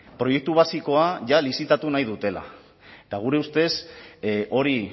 proiektu basikoa lizitatu nahi dutela eta gure ustez hori